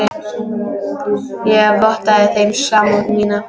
Ég vottaði þeim samúð mína.